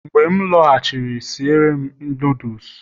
mgbe m laghachiri, si ere'm nudulus